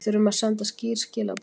Við þurfum að senda skýr skilaboð